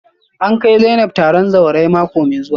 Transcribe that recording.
A kai Zainab taron zawarai mako mai zuwa